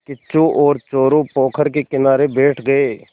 किच्चू और चोरु पोखर के किनारे बैठ गए